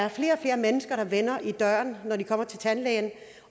og flere mennesker der vender om i døren når de kommer til tandlægen